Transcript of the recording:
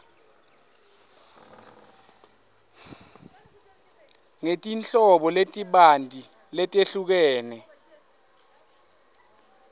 ngetinhlobo letibanti letehlukene